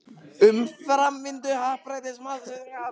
Um framvindu happdrættis-málsins á Alþingi segir prófessor